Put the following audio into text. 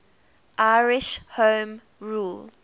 irish home rule